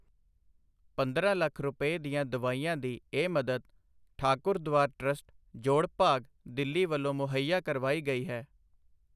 ਪੰਦਰਾਂ ਲੱਖ ਰੁਪਏ ਦੀਆਂ ਦਵਾਈਆਂ ਦੀ ਇਹ ਮਦਦ ਠਾਕੁਰਦਵਾਰਾ ਟ੍ਰੱਸਟ, ਜੋੜਭਾਗ, ਦਿੱਲੀ ਵੱਲੋਂ ਮੁਹੱਈਆ ਕਰਵਾਈ ਗਈ ਹੈ।